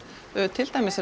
til dæmis